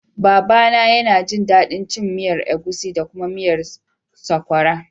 Baba na ya na jin daɗin cin miyar agushi da kuma miyar sokwara